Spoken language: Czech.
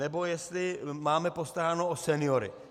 Nebo jestli máme postaráno o seniory.